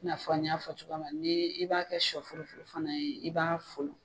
I na fɔ an y'a fɔ cogoya min na ni i b'a kɛ sɔ furu funu fana ye i b'a folon.